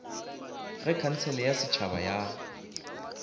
ge khansele ya setšhaba ya